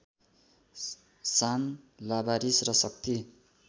शान लावारिस र शक्ति